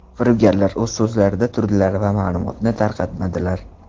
Firibgarlar o‘z so‘zlarida turdilar va ma’lumotni tarqatmadilar.